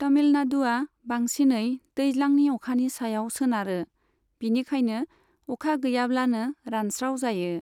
तमिलनाडुआ बांसिनै दैज्लांनि अखानि सायाव सोनारो, बिनिखायनो अखा गैयाब्लानो रानस्राव जायो।